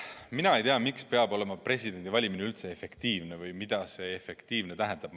Mina ei tea, miks peab presidendi valimine olema üldse efektiivne või mida see "efektiivne" tähendab.